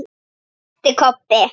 æpti Kobbi.